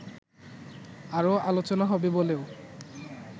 আরো আলোচনা হবে বলেও